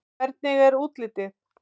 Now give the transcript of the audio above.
Hvernig er útlitið?